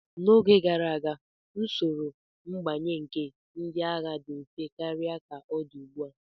N'oge gara aga, usoro mbanye nke ndị agha dị mfe karịa ka ọ dị ugbu a.